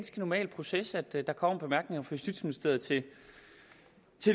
normal proces at der kommer bemærkninger fra justitsministeriet til